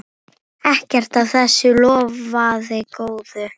Ekkert af þessu lofaði góðu.